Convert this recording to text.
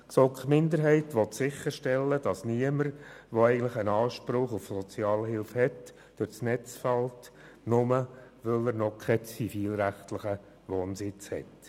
Die GSoK-Minderheit will sicherstellen, dass niemand, der eigentlich Anspruch auf Sozialhilfe hätte, allein deshalb durch die Maschen fällt, weil er noch keinen zivilrechtlichen Wohnsitz hat.